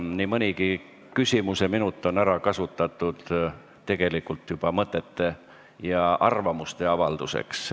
Nii mõnigi küsimuseminut on ära kasutatud juba mõtete ja arvamuste avaldamiseks.